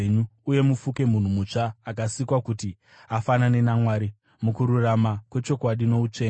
uye mufuke munhu mutsva, akasikwa kuti afanane naMwari mukururama kwechokwadi noutsvene.